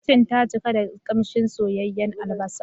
Kitchen ta cika da kamshin soyayyun albasa.